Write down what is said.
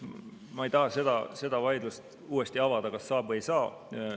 Ma ei taha seda vaidlust uuesti avada, kas saab või ei saa.